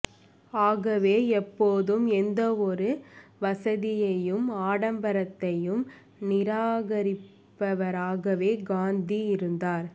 ஆகவே எப்போதும் எந்த ஒரு வசதியையும் ஆடம்பரத்தையும் நிராகரிப்பவராகவே காந்தி இருந்தார்